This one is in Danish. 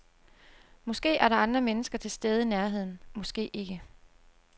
Måske er der andre mennesker til stede i nærheden, måske ikke.